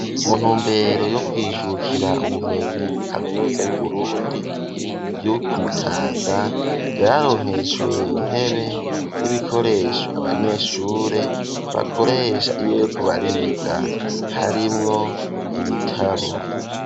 Mu ntumbero, yo kwijukira ubumenyi, muri kaminuza y'Uburundi, yo ku Mutanga; yararonkejwe intebe, n'ibikoresho, abanyeshure bakoresha, iyo bariko bariga, harimwo ibitabo.